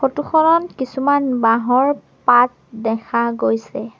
ফটোখনত কিছুমান বাঁহৰ পাত দেখা গৈছে।